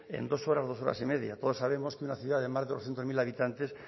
en dos horas dos horas y media todos sabemos que una ciudad de más de doscientos mil habitantes